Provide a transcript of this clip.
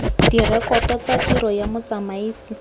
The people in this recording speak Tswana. direkoto tsa tiro ya motsamaisi